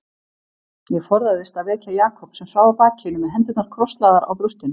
Ég forðaðist að vekja Jakob sem svaf á bakinu með hendurnar krosslagðar á brjóstinu.